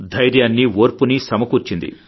ధైర్యాన్నీ ఓర్పునీ సమకూర్చింది